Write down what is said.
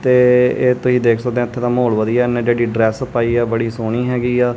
ਤੇ ਇਹ ਤੁਸੀਂ ਦੇਖ ਸਕਦੇਹਾਂ ਇੱਥੇ ਦਾ ਮਾਹੌਲ ਵਧੀਆ ਹੈ ਇਹਨੇਂ ਜਿਹੜੀ ਡਰੈੱਸ ਪਾਇ ਹੈ ਬੜੀ ਸੋਹਣੀ ਹੈਗੀ ਆ।